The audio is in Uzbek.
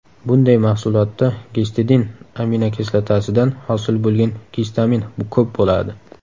Bunday mahsulotda gistidin aminokislotasidan hosil bo‘lgan gistamin ko‘p bo‘ladi.